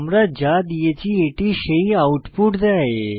যা আমরা দিয়েছি এটি সেই আউটপুট দেয়